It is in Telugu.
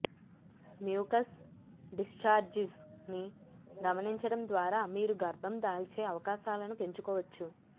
మ్యూకస్ డిశ్చారిజ్ ని గమనించడం ద్వారా మీరు గర్భం దాల్చే అవకాశాలను పెంచుకోవచ్చు